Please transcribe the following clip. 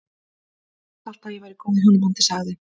Ég hélt alltaf að ég væri í góðu hjónabandi- sagði